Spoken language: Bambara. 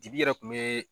Dibi yɛrɛ kun be